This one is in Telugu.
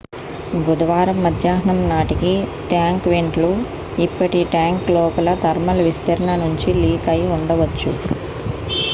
బుధవారం మధ్యాహ్నం నాటికి ట్యాంకు వెంట్ లు ఇప్పటికీ ట్యాంకు లోపల థర్మల్ విస్తరణ నుంచి లీక్ అయి ఉండవచ్చు